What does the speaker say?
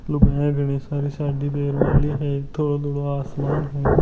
लुगाईया घनी सारी साड़ी पहर मेली है थोड़ो-थोड़ो आसमान है।